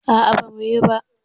A'a bamu yi ba.